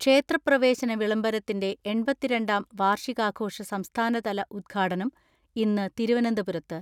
ക്ഷേത്രപ്രവേശന വിളംബരത്തിന്റെ എൺപത്തിരണ്ടാം വാർഷികാഘോഷ സംസ്ഥാനതല ഉദ്ഘാടനം ഇന്ന് തിരുവനന്തപുരത്ത്.